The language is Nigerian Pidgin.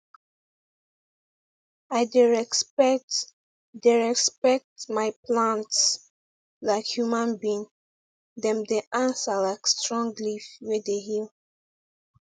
i dey respect dey respect my plants like human being dem dey answer like strong leaf wey dey heal